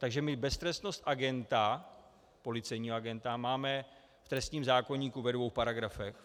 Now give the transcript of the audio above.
Takže my beztrestnost agenta, policejního agenta, máme v trestním zákoníku ve dvou paragrafech.